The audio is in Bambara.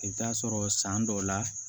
I bɛ taa sɔrɔ san dɔw la